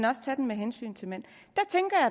også tage den med hensyn til mænd